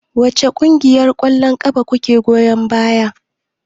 Wace ƙungiyar ƙwallon ƙafa kuke goyon baya?